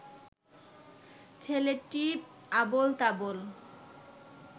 ছেলেটি আবোল তাবোল